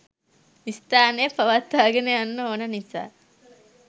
ස්ථානය පවත්වාගෙන යන්න ඕන නිසා